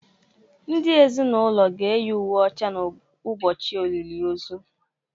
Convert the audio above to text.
ndị ezinụlọ ga-eyi uwe ọcha n’ụbọchị olili ozu